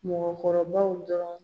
Mɔgɔkɔrɔbaw dɔrɔnw